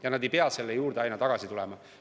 Ja nad ei pea selle juurde tagasi tulema.